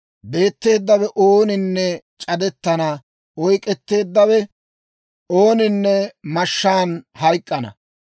Beetteeddawe ooninne c'adettana; oyk'k'etteeddawe ooninne mashshaan hayk'k'ana.